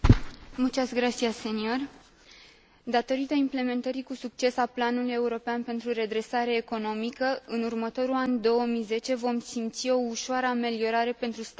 Datorită implementării cu succes a planului european pentru redresare economică, în următorul an, 2010, vom simți o ușoară ameliorare pentru statele membre din Uniunea Europeană.